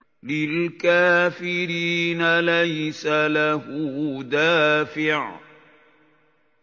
لِّلْكَافِرِينَ لَيْسَ لَهُ دَافِعٌ